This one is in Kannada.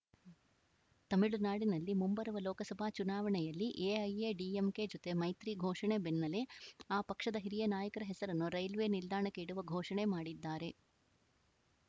ತಮಿಳುನಾಡಿನಲ್ಲಿ ಮುಂಬರುವ ಲೋಕಸಭಾ ಚುನಾವಣೆಯಲ್ಲಿ ಎಐಎಡಿಎಂಕೆ ಜೊತೆ ಮೈತ್ರಿ ಘೋಷಣೆ ಬೆನ್ನಲ್ಲೇ ಆ ಪಕ್ಷದ ಹಿರಿಯ ನಾಯಕರ ಹೆಸರನ್ನು ರೈಲ್ವೆ ನಿಲ್ದಾಣಕ್ಕೆ ಇಡುವ ಘೋಷಣೆ ಮಾಡಿದ್ದಾರೆ